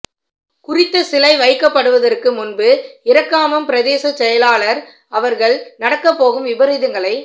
குறித்த சிலை வைக்கப்படுவதற்கு முன்பு இறக்காமம் பிரதேச செயலாளர் அவர்கள் நடக்கப்போகும் விபரீதங்களை